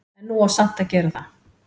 En nú á samt að gera það.